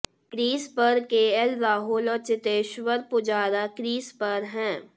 crease पर K L Rahul और Cheteshwar Pujara crease पर हैं